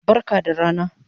Barka da rana